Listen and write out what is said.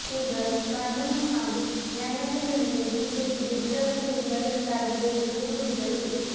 ಹೀಗಾಗಿ ಕಾನೂನು ಹಾಗೂ ನ್ಯಾಯಾಂಗದ ಮೇಲೆ ಬಿಜೆಪಿಗೆ ಭರವಸೆ ಇಲ್ಲದಂತಾಗಿದೆ ಎಂದು ದೂರಿದರು